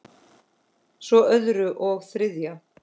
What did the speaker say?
Svo öðru og þriðja.